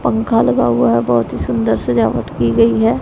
पंखा लगा हुआ है बहुत ही सुन्दर सजावट की गई है।